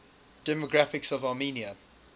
demographics of armenia